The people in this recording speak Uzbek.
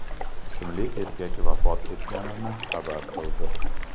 ismli erkak vafot etganini xabar qildi .